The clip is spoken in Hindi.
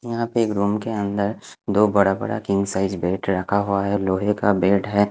यहा पे एक रूम के अंदर दो बड़ा बड़ा किंग साइड बेड रखा हुआ है लोहे का बेड है।